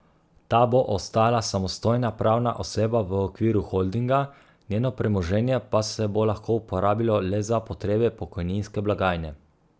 Ta bo ostala samostojna pravna oseba v okviru holdinga, njeno premoženje pa se bo lahko uporabilo le za potrebe pokojninske blagajne.